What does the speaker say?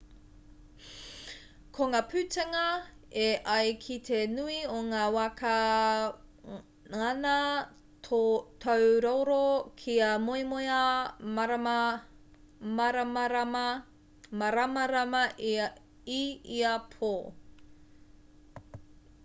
ko ngā putanga e ai ki te nui o ngā wā ka ngana tōu roro kia moemoeā māramarama i ia pō